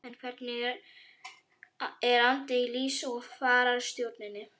En hvernig er andinn í liðs- og fararstjórninni?